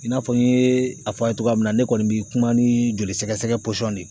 I n'a fɔ n ye a fɔ a ye cogoya min na ne kɔni bɛ kuma ni jolisɛgɛsɛgɛ de ye